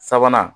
Sabanan